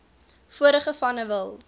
vorige vanne wil